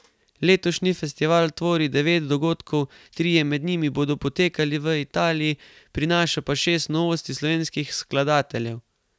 Letošnji festival tvori devet dogodkov, trije med njimi bodo potekali v Italiji, prinaša pa šest novosti slovenskih skladateljev.